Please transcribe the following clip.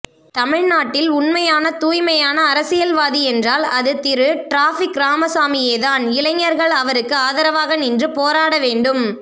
தமிழ் நாட்டில் உணமையான தூய்மையான அரசியல்வாதியென்றால் அது திரு டிராபிக் ராமசாமியேதான் இளைஞர்கள் அவருக்கு ஆதரவாக நின்று போராடவேண்டும்